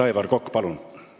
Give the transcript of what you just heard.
Aivar Kokk, palun!